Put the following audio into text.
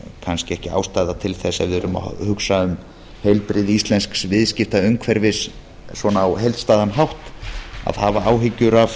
kannski ekki ástæða til þess að við erum að hugsa um heilbrigði íslensks viðskiptaumhverfis svona á heildstæðan hátt að hafa áhyggjur af